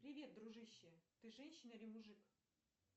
привет дружище ты женщина или мужик